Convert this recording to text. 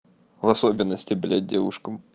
в особенности бля девушкам